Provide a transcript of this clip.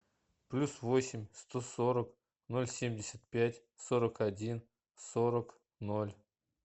плюс восемь сто сорок ноль семьдесят пять сорок один сорок ноль